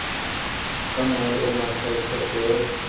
ka mongolo o makgethe o